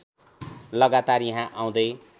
लगातार यहाँ आउँदै